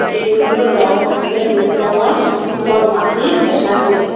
এইৰোৰৰ ৰং হৈছে ৰূপ ৰঙৰ তলত মাটি দেখা গৈছে।